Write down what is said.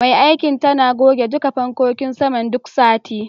Mai aikin tana goge duka fankokin saman duk sati.